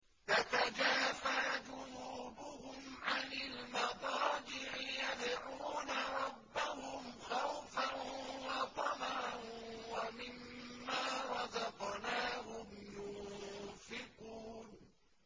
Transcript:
تَتَجَافَىٰ جُنُوبُهُمْ عَنِ الْمَضَاجِعِ يَدْعُونَ رَبَّهُمْ خَوْفًا وَطَمَعًا وَمِمَّا رَزَقْنَاهُمْ يُنفِقُونَ